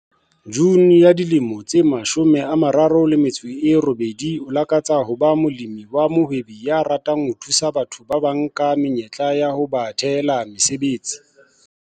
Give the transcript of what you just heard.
June ya dilemo tse 38 o lakatsa ho ba molemi wa mohwebi ya ratang ho thusa batho ba bang ka menyetla ya ho ba thehela mesebetsi.